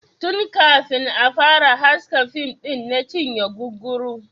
Tun kafin a fara haska fim ɗin na cinye guguru.